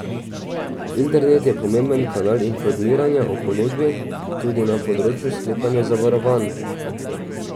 Internet je pomemben kanal informiranja o ponudbi tudi na področju sklepanja zavarovanj.